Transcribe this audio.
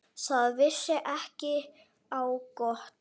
Það vissi ekki á gott.